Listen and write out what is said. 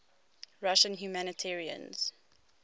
russian humanitarians